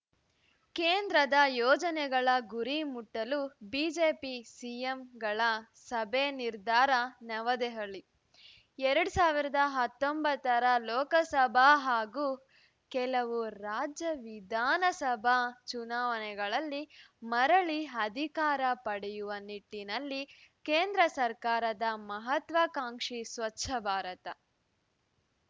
ಕೇಂದ್ರದ ಯೋಜನೆಗಳ ಗುರಿ ಮುಟ್ಟಲು ಬಿಜೆಪಿ ಸಿಎಂಗಳ ಸಭೆ ನಿರ್ಧಾರ ನವದೆಹಲಿ ಎರಡ್ ಸಾವಿರದ ಹತ್ತೊಂಬತ್ತರ ಲೋಕಸಭಾ ಹಾಗೂ ಕೆಲವು ರಾಜ್ಯ ವಿಧಾನಸಭಾ ಚುನಾವಣೆಗಳಲ್ಲಿ ಮರಳಿ ಅಧಿಕಾರ ಪಡೆಯುವ ನಿಟ್ಟಿನಲ್ಲಿ ಕೇಂದ್ರ ಸರ್ಕಾರದ ಮಹತ್ವಾಕಾಂಕ್ಷಿ ಸ್ವಚ್ಛ ಭಾರತ